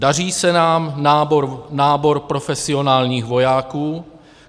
Daří se nám nábor profesionálních vojáků.